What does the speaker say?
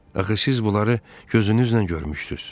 Axı siz bunları gözünüzlə görmüşdüz.